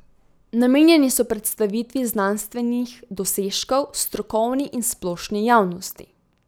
Namenjeni so predstavitvi znanstvenih dosežkov strokovni in splošni javnosti.